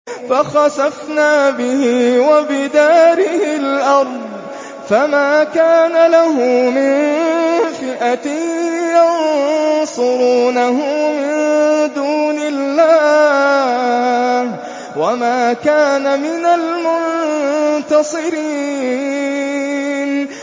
فَخَسَفْنَا بِهِ وَبِدَارِهِ الْأَرْضَ فَمَا كَانَ لَهُ مِن فِئَةٍ يَنصُرُونَهُ مِن دُونِ اللَّهِ وَمَا كَانَ مِنَ الْمُنتَصِرِينَ